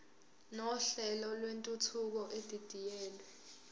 nohlelo lwentuthuko edidiyelwe